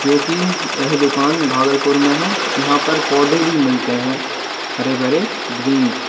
जो की यह दुकान भागलपुर में है यहाँ पर पौधे भी मिलते है हरे-भरे ग्रीन्सम --